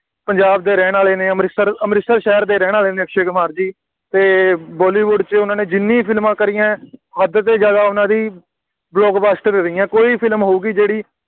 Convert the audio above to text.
ਪੰਜਾਬ ਦੇ ਰਹਿਣ ਵਾਲੇ ਨੇ, ਅੰਮ੍ਰਿਤਸਰ ਅੰਮ੍ਰਿਤਸਰ ਸ਼ਹਿਰ ਦੇ ਰਹਿਣ ਵਾਲੇ ਨੇ ਅਕਸ਼ੇ ਕੁਮਾਰ ਜੀ ਅਤੇ ਬਾਲੀਵੁੱਡ ਵਿੱਚ ਉਹਨਾ ਨੇ ਜਿੰਨੀਆਂ ਵੀ ਫਿਲਮਾਂ ਕਰੀਆਂ, ਹੱਦ ਤੋਂ ਜ਼ਿਆਦਾ ਉਹਨਾ ਦੀ blockbuster ਰਹੀਆਂ, ਕੋਈ ਹੀ ਫਿਲਮ ਹੋਊਗੀ ਜਿਹੜੀ